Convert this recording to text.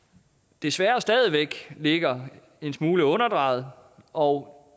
desværre stadig væk ligger en smule underdrejet og